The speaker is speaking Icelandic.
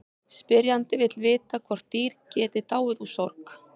Spyrjandi vill vita hvort dýr geti dáið úr sorg.